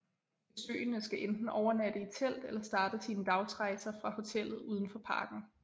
Besøgende skal enten overnatte i telt eller starte sine dagsrejser fra hoteller udenfor parken